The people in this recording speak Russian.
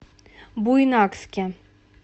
буйнакске